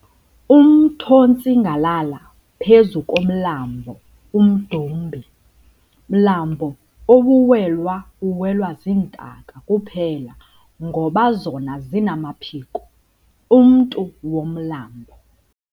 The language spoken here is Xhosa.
Umth'ontsingalala phezu komlambo umdumbi, mlambo awuwelwa uwelwa zintaka kuphela ngoba zona zinamaphiko, mntu womlambo.